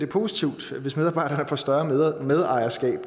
positivt hvis medarbejdere får større medejerskab